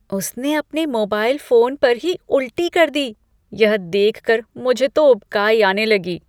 उसने अपने mobile phone पर ही उल्टी कर दी। यह देख कर मुझे तो उबकाई आने लगी।